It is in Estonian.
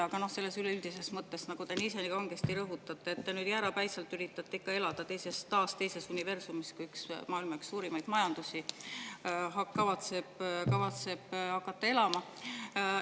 Aga üleüldises mõttes te üritate jäärapäiselt ikka elada teises universumis, kuigi maailma üks suurimaid majandusi kavatseb hakata elama.